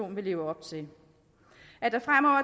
vil leve op til at der fremover